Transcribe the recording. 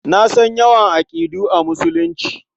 Na san yawan aƙidu a Musulunci.